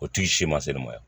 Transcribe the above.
O tu sima selen ma yan